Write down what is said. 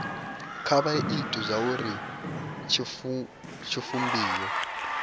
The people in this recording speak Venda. kha vha ite zwauri tshivhumbeo